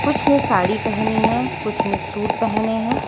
कुछ ने साड़ी पहनी हैं कुछ नहीं सूट पहने हैं।